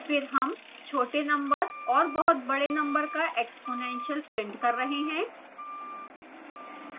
फिर हम छोटे number और बहुत बड़े number का exponential प्रिंट कर रहे हैं